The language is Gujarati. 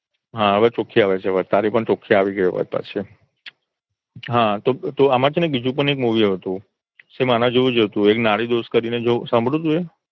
હા હવે ચોખ્ખી આવે છે અવાજ તારી. તારી પણ ચોખ્ખી આવે છે પાછી હા તો આમાં છે ને બીજુ પણ એક movie હતું સેમ આના જેવુંજ હતું એક નાડી દોષ કરીને સાંભર્યું તું એ